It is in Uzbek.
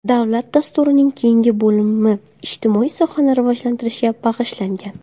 Davlat dasturining keyingi bo‘limi ijtimoiy sohani rivojlantirishga bag‘ishlangan.